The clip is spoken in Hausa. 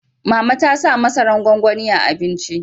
Mama ta sa masaran gwanwani a abinci